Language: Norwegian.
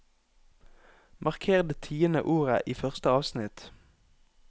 Marker det tiende ordet i første avsnitt